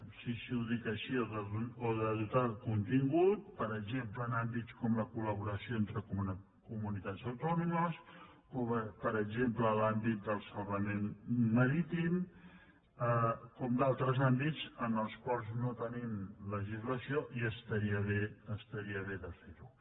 sí sí ho dic així o de do·tar de contingut per exemple en àmbits com la col·laboració entre comunitats autònomes per exemple en l’àmbit del salvament marítim com altres àmbits en els quals no tenim legislació i estaria bé de fer·ho